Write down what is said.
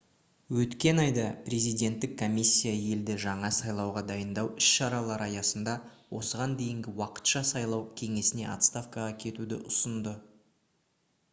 өткен айда президенттік комиссия елді жаңа сайлауға дайындау іс-шаралары аясында осыған дейінгі уақытша сайлау кеңесіне отставкаға кетуді ұсынды